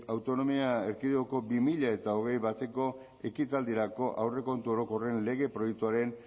autonomia erkidegoko bi mila hogeita bateko ekitaldirako aurrekontu orokorren lege proiektuaren